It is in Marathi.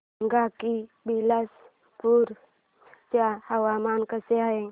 सांगा की बिलासपुर चे हवामान कसे आहे